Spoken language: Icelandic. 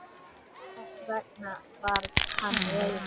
Þess vegna var hann reiður.